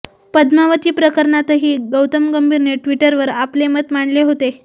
पद्मावती प्रकरणातही गौतम गंभीरने ट्विटरवर आपले मत मांडले होते